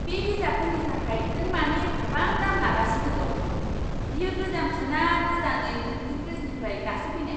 बे बिजाबफोरनि थाखाय नों मानो एफाबां दाम लागासिनो दं? बेयो गोजामसो ना गोदानै प्रिन्टिं प्रेसनिफ्राय दासो फैनाय?